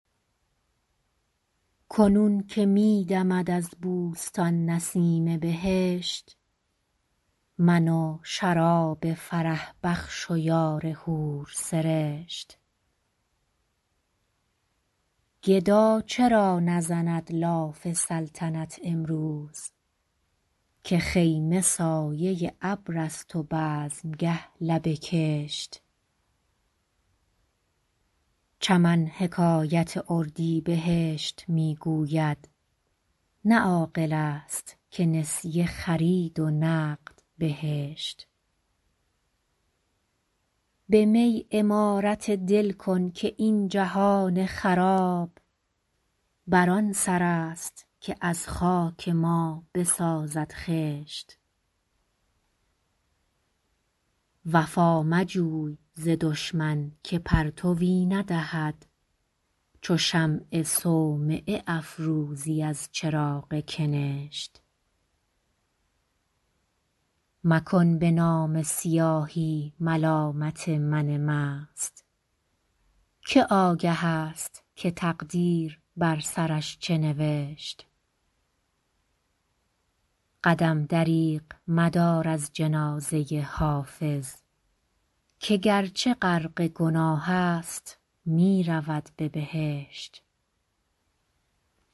کنون که می دمد از بوستان نسیم بهشت من و شراب فرح بخش و یار حورسرشت گدا چرا نزند لاف سلطنت امروز که خیمه سایه ابر است و بزمگه لب کشت چمن حکایت اردیبهشت می گوید نه عاقل است که نسیه خرید و نقد بهشت به می عمارت دل کن که این جهان خراب بر آن سر است که از خاک ما بسازد خشت وفا مجوی ز دشمن که پرتوی ندهد چو شمع صومعه افروزی از چراغ کنشت مکن به نامه سیاهی ملامت من مست که آگه است که تقدیر بر سرش چه نوشت قدم دریغ مدار از جنازه حافظ که گرچه غرق گناه است می رود به بهشت